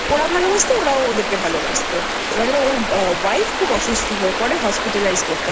ওরাও ভালোবাসতো ওরাও ওদেরকে ভালোবাসতো এবার ওর Wife খুব অসুস্থ হয়ে পরেHospitalizeকরতে হয়